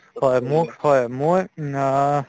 হয় মোক হয় মই উম অহ্